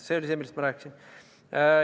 See oli see, millest ma rääkisin.